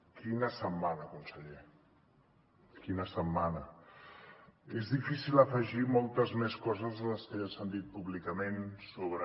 quina setmana conseller quina setmana és difícil afegir moltes més coses de les que ja s’han dit públicament sobre